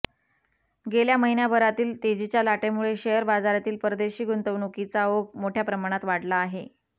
गेल्या महिन्याभरातील तेजीच्या लाटेमुळे शेअर बाजारातील परदेशी गुंतवणुकीचा ओघ मोठया प्रमाणात वाढला आहे